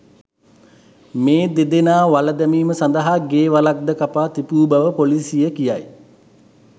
මේ දෙදෙනා වළ දැමීම සඳහා ගේ වළක් ද කපා තිබු බව පොලීසිය කියයි.